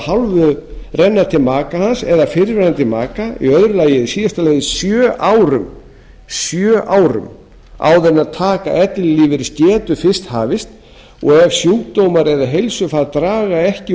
hálfu renna til maka hans eða fyrrverandi maka í öðru lagi að í síðasta lagi sjö árum áður en taka ellilífeyris getur fyrst hafist og ef sjúkdómar eða heilsufar draga ekki úr